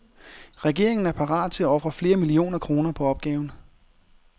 Regeringen er parat til at ofre flere millioner kroner på opgaven.